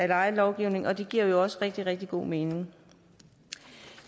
lejelovgivningen og det giver jo også rigtig rigtig god mening